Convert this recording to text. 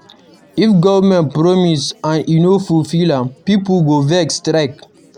If government promise and e no fulfill am, pipo go vex strike.